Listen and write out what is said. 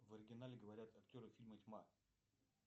в оригинале говорят актеры фильма тьма